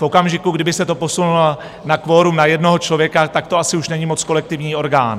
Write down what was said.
V okamžiku, kdyby se to posunulo na kvorum na jednoho člověka, tak to asi už není moc kolektivní orgán.